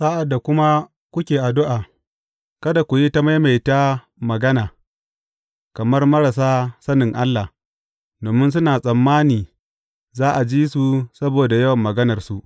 Sa’ad da kuma kuke addu’a, kada ku yi ta maimaita magana, kamar marasa sanin Allah, domin suna tsammani za a ji su saboda yawan maganarsu.